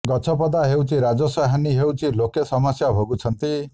ଗଛ ପଦା ହେଉଛି ରାଜସ୍ବ ହାନୀ ହେଉଛି ଲୋକେ ସମସ୍ୟା ଭୋଗୁଛନ୍ତି